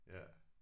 Ja